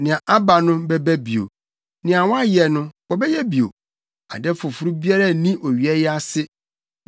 Nea aba no bɛba bio, nea wɔayɛ no, wɔbɛyɛ bio; ade foforo biara nni owia yi ase.